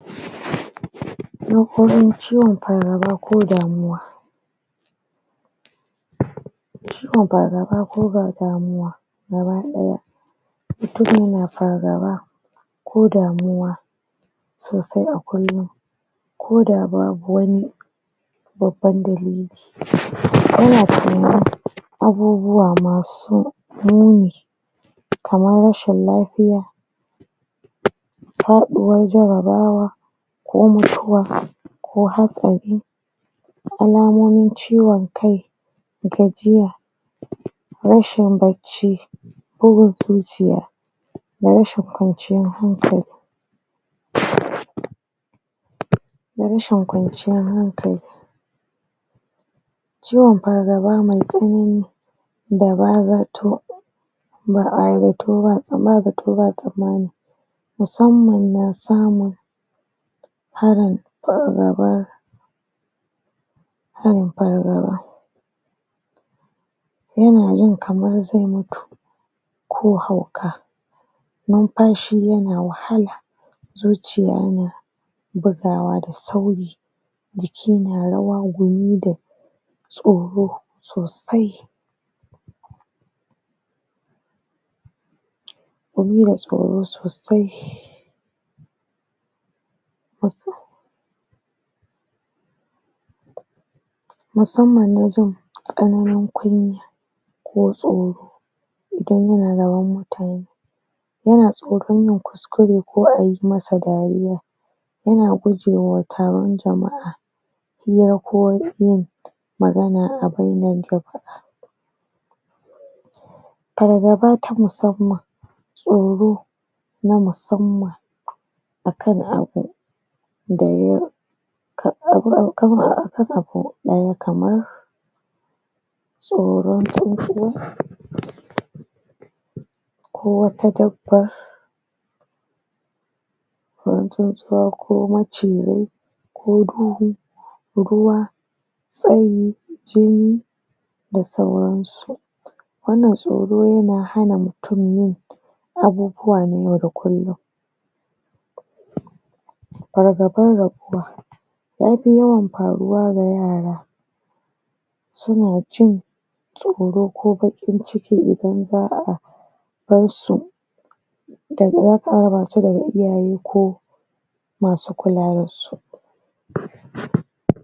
Nakoran ciwon pargaba ko damuwa ciwon pargaba ko ga damuwa gabaɗaya pargaba ko damuwa so sai akwai, ko da babu wani babban dalili abubuwa masu kaman rashin lapiya paɗuwar jarabawa ko mutuwa ko hatsari alamomin ciwon kai, rashin barci, gajiya, bugun zuciya, rashin kwaciyar hankali rashin kwanciyar hankali ciwon pargaba mai tsanani da ba zatto ba zatto ba tsamani musamman na samun harin pargaba pargaba yana jin kamar zai mutu ko hauka numpashi na wahala, zuciya na bugawa da sauri jiki na rawa game da tsoro sosai tsoro sosai musamman na jin tsananin kunya ko tsoro yana tsoron yayi kuskure ko a yi masa dariya yana gujewa taron jama'a pargaba ta musamman, tsoro ta musamman tsoro ko wata tsoron tsuntsuwa ko macizai, ko duhu, ruwa da sauran su wannan tsoro yana hana mutum yin abubuwa na yau da kullum pargaban raguwa, ya pi yawan paruwa da yara suna jin tsoro ko baƙin ciki idan za'a kai su basu da iyaye ko masu kula da su.